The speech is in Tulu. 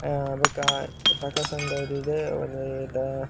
ಅಹ್ ಬೊಕ್ಕ ಪ್ರಕಾಶ ಆಂಡ್ ಡೈರಿಡ್ ಒಂಜಿ ದ --